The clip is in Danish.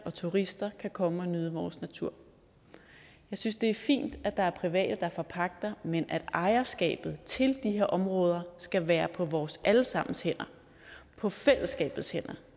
og turister kan komme og nyde vores natur jeg synes det er fint at der er private der forpagter men at ejerskabet til de her områder skal være på vores alle sammens hænder på fællesskabets hænder